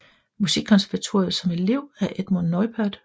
Musikkonservatorium som elev af Edmund Neupert